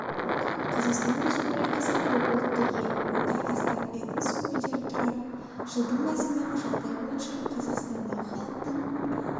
қазақстан республикасы көп ұлтты ел онда астам этнос өкілдері тұрады жылдың басындағы жағдай бойынша қазақстандағы халықтың